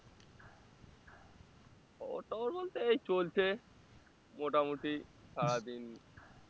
খবর টবর বলতে এই চলছে মোটামুটি সারাদিন